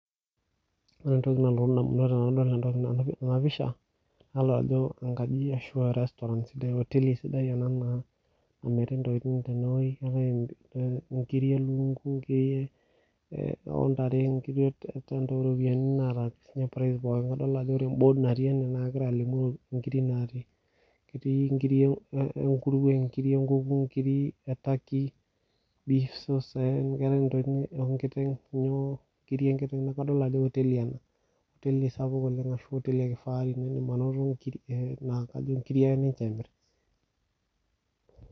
oree entoki nalotu indamunot tenadol ena pisha naddol ajo enkajii ashuu aaa restaurant ehoteli sidai ena namiri intokitin tene woji adol aa inkirik ee lukunku , ikiriik oo ntare inkiri oo ropiyiani naata price pookin adol ajo ore embod naati ene egira alimu inkiri natii etii inkiri enkuruwe nkiri enkuku inkiri e turkey beef sauce keetai intokitin enkiteng nyoo kadol ajo hoteli ena sapuk oleny ashuu ene kifahari indim ainoto inkirik ajo inkiri ake ninche emirr.